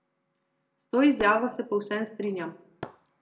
S to izjavo se povsem strinjam.